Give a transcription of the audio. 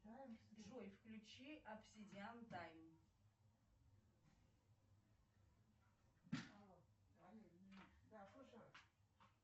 джой включи обсидиан тайм